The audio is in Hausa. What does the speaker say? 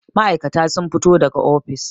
ma'aikata sun fito daga ofis